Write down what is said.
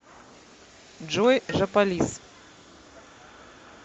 джой жополиз